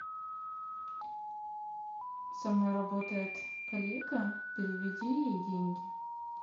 со мной работает коллега переведи ей деньги